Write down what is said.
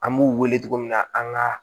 An b'u wele togo min na an ka